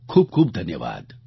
ખૂબ ખૂબ ધન્યવાદ